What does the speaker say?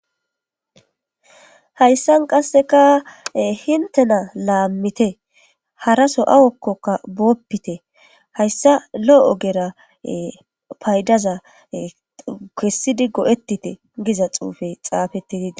Hayssan qasseka hintena laammite haraso awokkoka booppite hayssa lo'oogera paydaza kessidi go'ettite giza xuufey xaafeti didi.